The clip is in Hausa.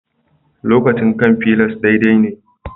Lokacin kan fliers daidai ne